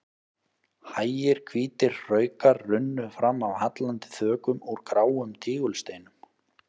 Hægir hvítir hraukar runnu fram af hallandi þökum úr gráum tígulsteinum.